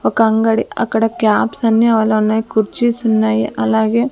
ఒక అంగడి అక్కడ కాప్స్ అన్నీ ఉన్నాయి కుర్చీస్ ఉన్నాయి అలాగే--